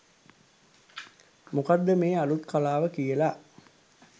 මොකක්ද මේ අලුත් කලාව කියලා.